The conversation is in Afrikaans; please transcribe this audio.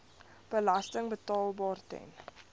belasting betaalbaar ten